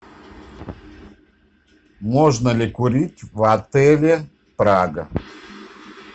можно ли курить в отеле прага